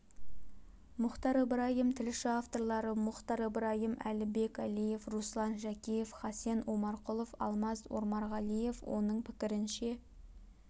мұітар ыбырайым тілші авторлары мұітар ыбырайым әлібек әлиев руслан жәкеев хасен омарқұлов алмаз ормарғалиев оның пікірінше